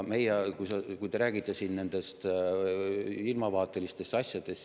Te räägite siin ilmavaatelistest asjadest.